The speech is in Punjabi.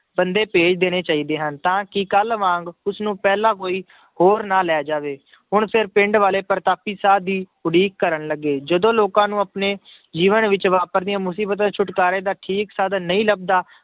ਬੰਦੇ ਭੇਜ ਦੇਣੇ ਚਾਹੀਦੇ ਹਨ, ਤਾਂ ਕਿ ਕੱਲ੍ਹ ਵਾਂਗ ਉਸਨੂੰ ਪਹਿਲਾਂ ਕੋਈ ਹੋਰ ਨਾ ਲੈ ਜਾਵੇ ਹੁਣ ਫਿਰ ਪਿੰਡ ਵਾਲੇ ਪ੍ਰਤਾਪੀ ਸਾਧ ਦੀ ਉਡੀਕ ਕਰਨ ਲੱਗੇ, ਜਦੋਂ ਲੋਕਾਂ ਨੂੰ ਆਪਣੇ ਜੀਵਨ ਵਿੱਚ ਵਾਪਰਦੀਆਂ ਮੁਸੀਬਤ ਦੇ ਛੁਟਕਾਰੇ ਦਾ ਠੀਕ ਸਾਧਨ ਨਹੀਂ ਲੱਭਦਾ